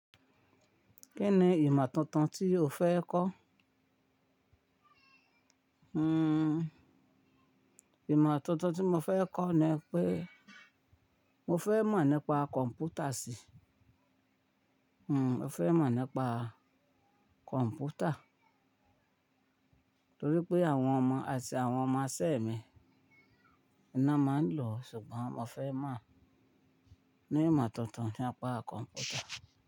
Kí ni ìmọ̀ tuntun tí o fẹ́ kọ́? Hmmm ìmọ̀ tuntun tí mo fẹ́ kọ́ ni pé mo fẹ́ mọ̀ nípa kọ̀m̀pútà sí. Hmmm mo fẹ́ mọ̀ nípa kọ̀m̀pútà torí pé àwọn ọmọ àti àwọn ọmọ isẹ̀ mi ni wọ́n máa ń lò, ṣùgbọ́n mo fẹ́ mọ̀ ní ìmọ̀ tuntun nípa kọ̀m̀pútà.